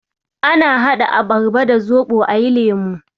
Ana haɗa abarba da zoɓo ayi lemo.